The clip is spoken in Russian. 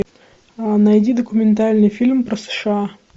найди документальный фильм про сша